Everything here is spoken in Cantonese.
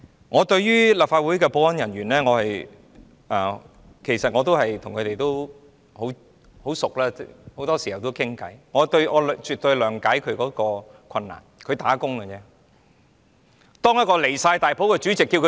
我與立法會的保安人員也很相熟，很多時候也會一起聊天，我絕對諒解他們的困難，他們只是"打工"而已。